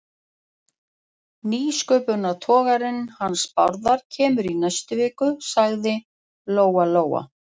Nýsköpunartogarinn hans Bárðar kemur í næstu viku, sagði Lóa-Lóa.